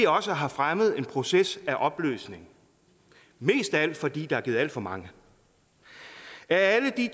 også har fremmet en proces af opløsning mest af alt fordi der er givet alt for mange er alle de